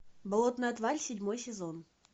болотная тварь седьмой сезон